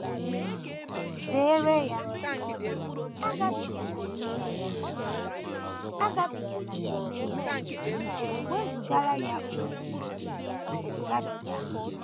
Zere ya, agabigala n’ime ya agabigala n’ime ya; wezụgara ya onwe gị, gabiga. ’